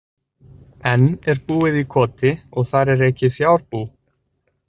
Enn er búið í Koti og þar er rekið fjárbú.